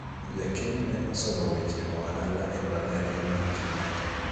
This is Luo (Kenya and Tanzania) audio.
jakeno ne osomo weche ohala e mbalariany mar Kenyatta